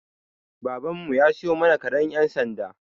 Baban mu ya siyo mana karen ƴan sanda.